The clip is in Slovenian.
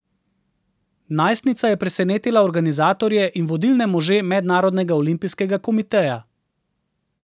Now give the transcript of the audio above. Najstnica je presenetila organizatorje in vodilne može Mednarodnega olimpijskega komiteja.